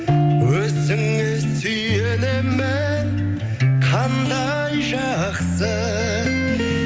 өзіңе сүйенемін қандай жақсы